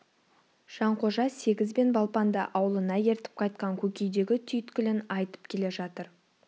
жанқожа сегіз бен балпанды аулына ертіп қайтқан көкейдегі түйткілін айтып келе жатыр